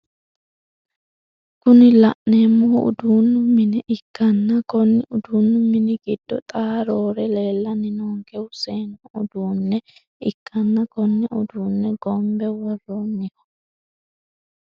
Kuni la'neemohu uduunu mine ikkanna konni uduunnu mini giddo xaa roore leellanni noonkehu seennu uduunne ikkanna konne uduunne gonbe worronniho.